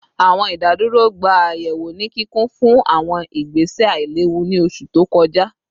Awọn idaduro gba ayẹwo ni kikun fun awọn igbese ailewu ni oṣu to kọja